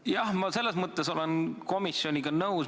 Jah, ma olen selles mõttes komisjoniga nõus.